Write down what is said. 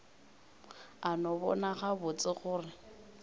a no bona gabotse gore